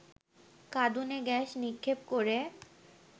কাঁদুনে gas নিক্ষেপ করে